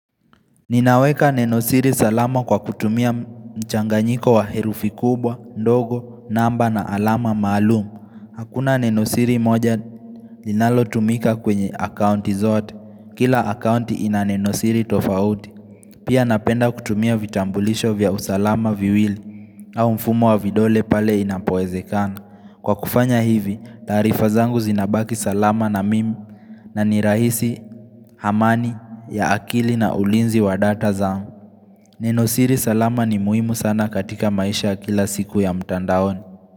Ninaweka nenosiri salama kwa kutumia mchanganyiko wa herufi kubwa, ndogo, namba na alama maalum. Hakuna nenosiri moja linalo tumika kwenye akaunti zote. Kila akaunti ina nenosiri tofauti. Pia napenda kutumia vitambulisho vya usalama viwili au mfumo wa vidole pale inapoezekana. Kwa kufanya hivi, taarifa zangu zinabaki salama na mimi na nirahisi, amani, ya akili na ulinzi wa data zao. nEnosiri salama ni muhimu sana katika maisha kila siku ya mtandaoni.